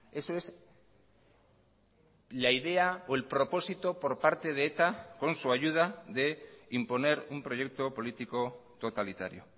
eso es la idea o el propósito por parte de eta con su ayuda de imponer un proyecto político totalitario